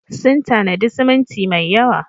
Sun tanadi siminti mai yawa.